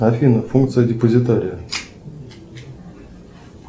афина функция депозитария